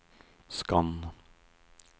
skann